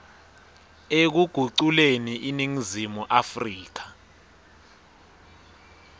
ekuguculeni iningizimu afrika